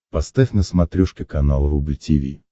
поставь на смотрешке канал рубль ти ви